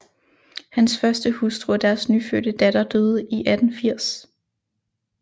Hans første hustru og deres nyfødte datter døde i 1880